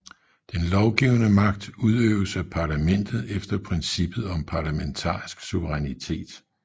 Den lovgivende magt udøves af parlamentet efter princippet om parlamentarisk suverænitet